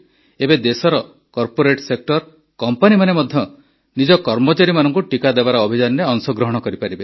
ଏବେ ଦେଶର corporate sector କମ୍ପାନୀମାନେ ମଧ୍ୟ ନିଜ କର୍ମଚାରୀମାନଙ୍କୁ ଟିକା ଦେବାର ଅଭିଯାନରେ ଅଂଶଗ୍ରହଣ କରିପାରିବେ